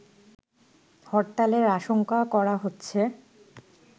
হরতালের আশঙ্কা করা হচ্ছে